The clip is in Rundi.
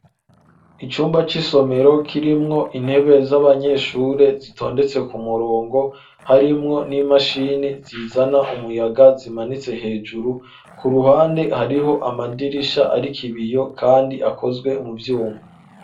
Icumba cisomero kirimwo intebe z'abanyeshure zitondetse ku murongo harimwo n'imashini zizana umuyaga zimanitse hejuru ku ruhande hariho amadirisha arik ibiyo kandi akozwe mu vyuma.